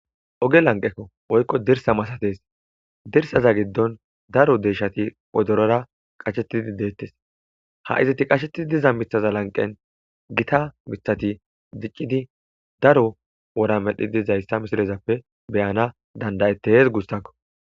oge lanqekko oykko dirsa masates dirsaza giddon daro deeshshati odorora qashettidi deettes ha izati qashettidi diza mithaza lanqen gita mithati diccidi daro wora medhi dizayssa misirezappe beyana dandayettees gussakko